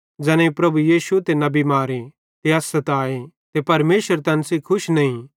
ज़ैनेई प्रभु यीशु ते नबी भी मारे ते अस सताए ते परमेशर तैन सेइं खुश नईं ते तैना सेब्भी मैनू केरि खलाफत केरतन